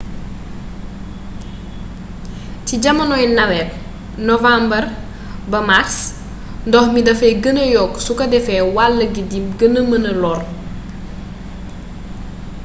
ci jamonoy nawet nowàmbre ba màrs ndox mi dafay gêna yokk suko defee wall gi di gëna mëna lore